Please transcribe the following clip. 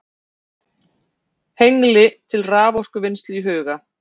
Hengli til raforkuvinnslu í huga.